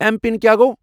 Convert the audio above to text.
M پِن کیٛا گوٚو؟